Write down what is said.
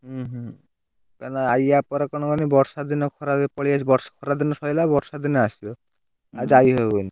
ଉଁ ହୁଁ! କାଇଁକିନା ୟା ପରେ କଣ କହନୀ, ବର୍ଷା ଦିନ ଖରା ପଳେଇଆସିବ ଖରା ଦନ ସରିଲା ବର୍ଷା ଦିନ ଆସିବ ଆଉ ଯାଇହବନି।